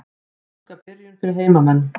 Óska byrjun fyrir heimamenn.